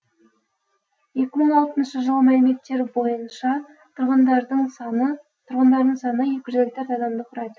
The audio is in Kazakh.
екі мың алтыншы жылғы мәліметтер бойынша тұрғындарының саны екі жүз елу төрт адамды құрайды